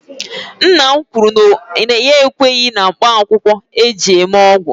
Nna m kwuru na ya ekweghi na mkpaakwụkwọ eji eme ọgwụ